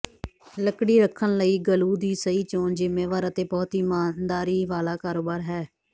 ਲੱਕੜੀ ਰੱਖਣ ਲਈ ਗਲੂ ਦੀ ਸਹੀ ਚੋਣ ਜ਼ਿੰਮੇਵਾਰ ਅਤੇ ਬਹੁਤ ਹੀ ਈਮਾਨਦਾਰੀ ਵਾਲਾ ਕਾਰੋਬਾਰ ਹੈ